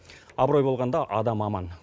абырой болғанда адам аман